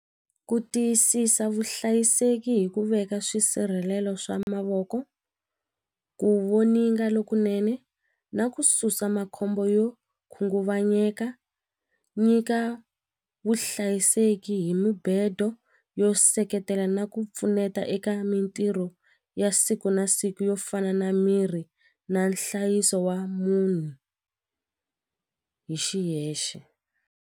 Ku tiyisisa vuhlayiseki hi ku veka swisirhelelo swa mavoko ku voninga lokunene na ku susa makhombo yo khunguvanyeka nyika vuhlayiseki hi mubedo yo seketela na ku pfuneta eka mitirho ya siku na siku yo fana na mirhi na nhlayiso wa munhu hi xiyexe.